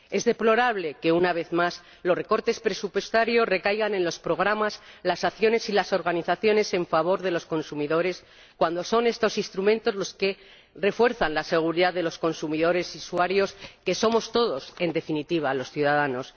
Es deplorable que, una vez más, los recortes presupuestarios recaigan en los programas, las acciones y las organizaciones en favor de los consumidores cuando son estos instrumentos los que refuerzan la seguridad de los consumidores y usuarios, que somos todos, en definitiva los ciudadanos.